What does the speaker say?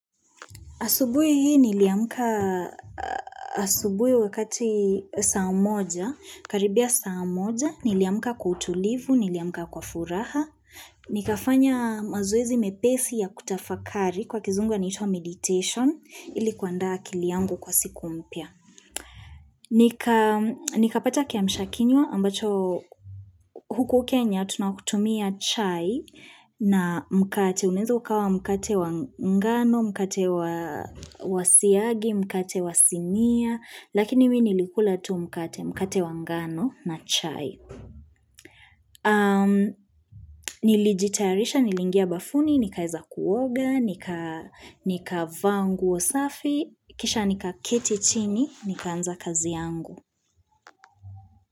Asubui hii niliamka asubui wakati saa moja, karibia saa moja, niliamka kwa kutulivu, niliamka kwa furaha, nikafanya mazoezi mepesi ya kutafakari kwa kizungu initwa meditation, ili kuandaa akili yangu kwa siku mpya. Nikapata kiamshakinywa ambacho huku Kenya tunakutumia chai na mkate, unaeza ukawa mkate wangano, mkate wasiagi, mkate wasimia, lakini mi nilikula tu mkate, mkate wa ngano na chai. Nilijitairisha, niliingia bafuni, nikaeza kuoga, nikavaa nguo safi, kisha nikaketi chini, nikaanza kazi yangu.